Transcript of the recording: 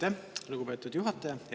Aitäh, lugupeetud juhataja!